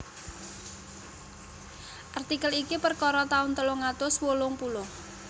Artikel iki perkara taun telung atus wolung puluh